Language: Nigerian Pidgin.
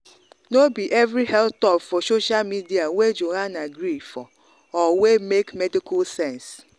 no be every health talk for social media wey joanna gree for or wey make medical sense.